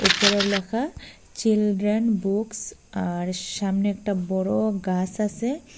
উপরে ল্যাখা children books আর সামনে একটা বড় গাস আসে।